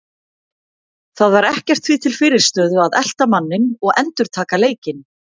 Það var ekkert því til fyrirstöðu að elta manninn og endurtaka leikinn.